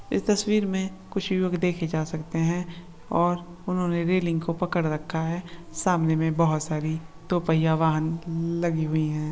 इस तस्वीर में कुछ लोग देखे जा सकते हैं। और उन्होंने रेलिंग को पकड़ रखा है। सामने मैं बहुत सारी दो पहिया वाहन ल- लगी हुई है।